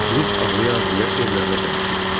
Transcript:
Durub ağlaya-ağlaya evlərinə tərəf getdi.